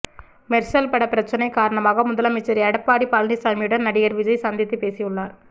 மெர்சல் பட பிரச்சனை காரணமாக முதலமைச்சர் எடப்பாடி பழனிச்சாமியுடன் நடிகர் விஜய் சந்தித்து பேசியுள்ளார்